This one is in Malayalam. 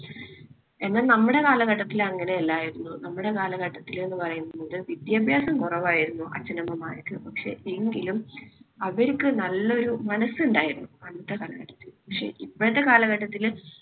എന്നാൽ നമ്മുടെ കാലഘട്ടത്തിൽ അങ്ങനെ അല്ലായിരുന്നു. നമ്മുടെ കാലഘട്ടത്തിൽ എന്ന് പറയുന്നത് വിദ്യാഭ്യാസം കുറവായിരുന്നു അച്ഛനമ്മമാർക്ക്. പക്ഷേ എങ്കിലും അവർക്ക് നല്ലൊരു മനസ്സ് ഉണ്ടായിരുന്നു അന്നത്തെ കാലത്ത്. പക്ഷേ ഇപ്പഴത്തെ കാലഘട്ടത്തില്